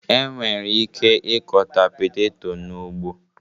E nwere ike ịkọta peteto n'ugbo